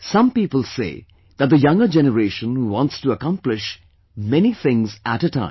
Some people say that the younger generation wants to accomplish a many things at a time